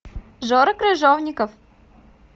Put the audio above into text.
жора крыжовников